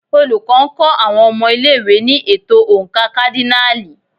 Olùkọ́ ń kọ́ àwọn ọmọ ilé-ìwé ní ètò oǹkà kádínààlì.